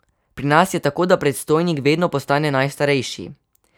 Pri nas je tako, da predstojnik vedno postane najstarejši.